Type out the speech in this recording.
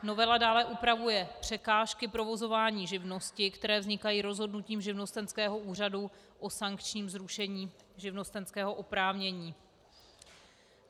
Novela dále upravuje překážky provozování živnosti, které vznikají rozhodnutím živnostenského úřadu o sankčním zrušení živnostenského oprávnění.